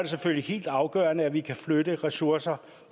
selvfølgelig helt afgørende at vi kan flytte ressourcer